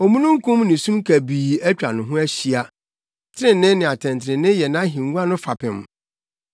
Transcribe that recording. Omununkum ne sum kabii atwa no ho ahyia; trenee ne atɛntrenee yɛ nʼahengua no fapem.